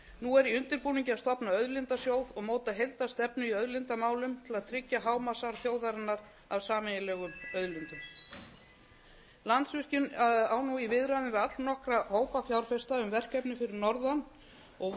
nú er í undirbúningi að stofna auðlindasjóð og móta heildarstefnu í auðlindamálum til að tryggja hámarksarð þjóðarinnar að sameiginlegum auðlindum landsvirkjun á nú í viðræðum við allnokkra hópa fjárfesta um verkefni fyrir norðan og